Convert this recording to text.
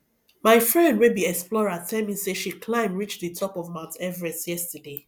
my friend wey be explorer tell me say she climb reach the top of mount everest yesterday